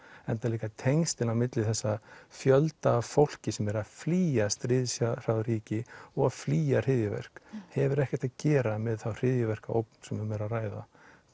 enda líka tengslin á milli þess að fjölda af fólki sem er að flýja stríðshrjáð ríki og flýja hryðjuverk hefur ekkert að gera með þá hryðjuverkaógn sem um er að ræða